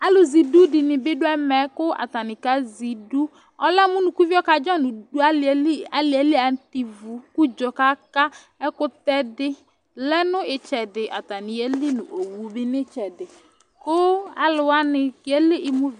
Alʋ zɛidu dɩnɩ bɩ dʋ ɛmɛ, kʋ atanɩ kazɛ iduƆlɛ mʋ unukuvio kadzɔ dʋ alɩɛ li ,alɩɛ li atɛ ivu kʋ udzo kaka, ɛkʋtɛ dɩ lɛ mʋ ɩtsɛdɩ, atanɩ yeli nʋ owu bɩ n' ɩtsɛdɩKʋ alʋ wanɩ